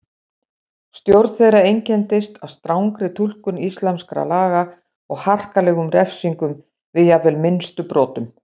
Stjórn þeirra einkenndist af strangri túlkun íslamskra laga og harkalegum refsingum við jafnvel minnstu brotum.